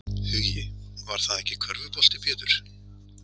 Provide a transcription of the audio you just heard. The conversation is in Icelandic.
Hugi: Var það ekki körfubolti Pétur?